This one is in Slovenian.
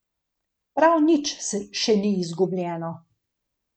Prav nič še ni izgubljeno.